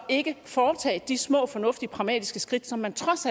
ikke foretage de små fornuftige pragmatiske skridt som man trods